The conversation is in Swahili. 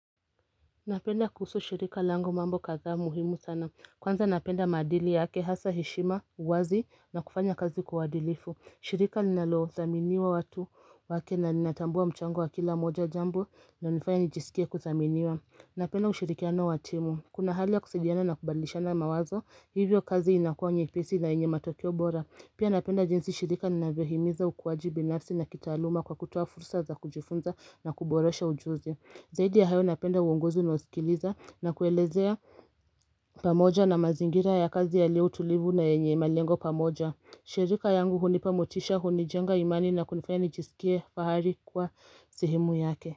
Napenda kuhusu shirika langu mambo kadhaa muhimu sana kwanza napenda maadili yake hasa heshima uwazi na kufanya kazi kwa uadilifu shirika linalo dhaminiwa watu wake na ninatambua mchango wa kila moja jambo linalo nifaya nijisikie kudhaminiwa Napenda ushirikiano watimu Kuna hali ya kusadiana na kubadilishana mawazo hivyo kazi inakua nyepesi na yenye matokeo bora Pia napenda jinsi shirika linavyo himiza ukuwaji binasi na kitaaluma kwa kutoa fursa za kujifunza na kuboresha ujuzi Zaidi ya hayo napenda uongozi unoa sikiliza na kuelezea pamoja na mazingira ya kazi ya lio tulivu na yenye malengo pamoja shirika yangu hunipamotisha hunijenga imani na kunifaya nijisikie fahari kwa sehemu yake.